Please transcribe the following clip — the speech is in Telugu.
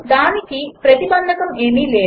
దానిని ప్రతిబంధకం ఏమీ లేదు